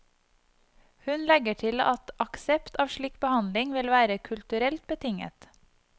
Hun legger til at aksept av slik behandling vil være kulturelt betinget.